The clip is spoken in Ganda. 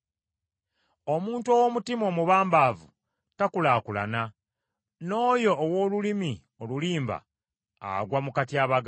Omuntu ow’omutima omubambaavu takulaakulana, n’oyo ow’olulimi olulimba agwa mu katyabaga.